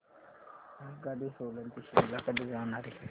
आगगाडी सोलन ते शिमला कडे जाणारी